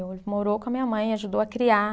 Ele morou com a minha mãe, ajudou a criar.